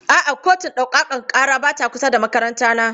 A'a, kotun ɗaukaka ƙara ba ta kusa da makarantana.